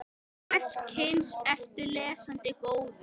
Hvers kyns ertu lesandi góður?